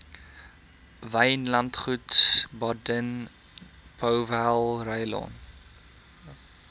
wynlandgoed baden powellrylaan